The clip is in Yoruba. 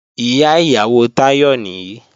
Ìyá ìyàwó Táyọ̀ nìí